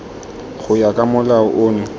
go ya ka molao ono